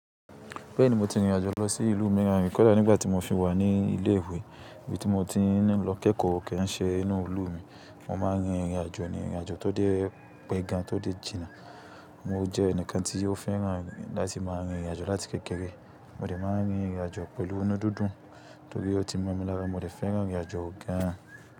Bẹ́ẹ̀ni mo ti rìnrìn àjò lọ sí ìlú mìíràn rìí kọ̀dà nígbà tí mo fi wà ní ilé ìwé, ibi tí mo ti ń lọ kẹ́ẹ̀kọ́ ke ń ṣe inú ìlú mi. Mo máa ń rin ìrìnàjò ní ìrìnàjò tó dé pẹ́ gan, tó dé jìnnà. Mo jẹ́ ẹnìkan tí ó fẹ́ràn láti máa ń rin ìrìn àjò láti kékeré. Mo lè máa ń rin ìrìn àjò pẹ̀lú inú dúndún, torí ó ti mọ̀ mi lára mo dè fẹ́ràn ìrìnàjò gan.